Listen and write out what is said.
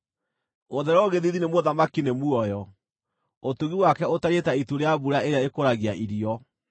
Gũthererwo gĩthiithi nĩ mũthamaki nĩ muoyo; ũtugi wake ũtariĩ ta itu rĩa mbura ĩrĩa ĩkũragia irio.